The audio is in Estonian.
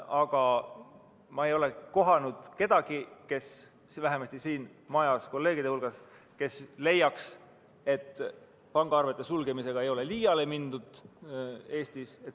Aga ma ei ole kohanud kedagi – vähemalt mitte siin majas kolleegide hulgas –, kes leiaks, et pangaarvete sulgemisega ei ole Eestis liiale mindud.